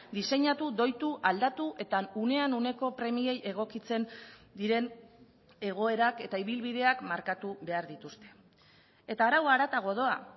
diseinatu doitu aldatu eta unean uneko premiei egokitzen diren egoerak eta ibilbideak markatu behar dituzte eta araua haratago doa